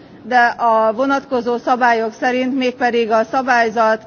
de a vonatkozó szabályok szerint, mégpedig a szabályzat